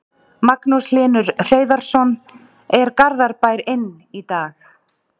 Magnús Hlynur Hreiðarsson: Er Garðabær inn í dag?